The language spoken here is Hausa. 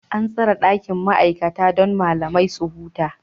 An tsara ɗakin ma'aikata don malamai su huta.